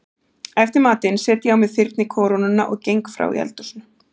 Eftir matinn set ég á mig þyrnikórónuna og geng frá í eldhúsinu.